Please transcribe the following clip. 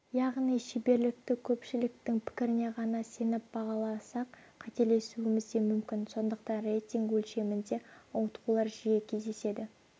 яғни шеберлікті көпшіліктің пікіріне ғана сеніп бағаласақ қателесуіміз де мүмкін сондықтан рейтинг өлшемінде ауытқулар жиі кездеседі